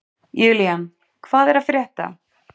Julian, hvað er að frétta?